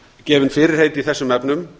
gefin fyrirheit í þessum efnum